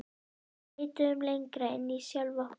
Við leituðum lengra inn í sjálf okkur.